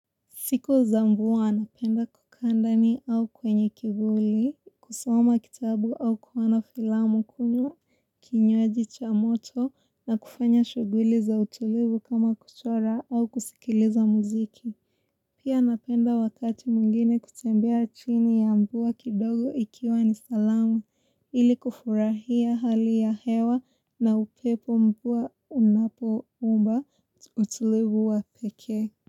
Siku zangu huwa napenda kukaa ndani au kwenye kivuli, kusoma kitabu au kuona filamu kunywa, kinywaji cha moto na kufanya shughuli za utulivu kama kuchora au kusikiliza muziki. Pia napenda wakati mwingine kutembea chini ya mvua kidogo ikiwa ni salamu ili kufurahia hali ya hewa na upepo mvua unapo umba utulivu wa pekee.